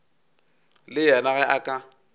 le yena ge a ka